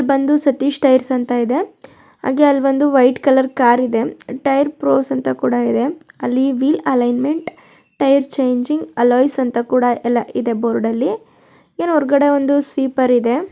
ಬಂದು ಸತೀಶ್ ಟೈರ್ಸ್ ಅಂತ ಇದೆ. ಹಾಗೆ ಅಲ್ಲಿ ಒಂದು ವೈಟ್ ಕಲರ್ ಕಾರಿದೆ ಟೈಯರ್ ಪ್ರೋಸ ಅಂತ ಕೂಡ ಇದೆ. ಅಲ್ಲಿ wheel alignment tyre changing alloys ಅಂತ ಕೂಡ ಎಲ್ಲ ಇದೆ ಬೋರ್ಡಲ್ಲಿ . ಏನೋ ಹೊರಗಡೆ ಒಂದು ಸ್ವಿಪರ್ ಇದೆ.